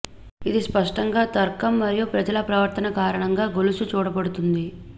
ఇది స్పష్టంగా తర్కం మరియు ప్రజల ప్రవర్తన కారణంగా గొలుసు చూడబడుతుంది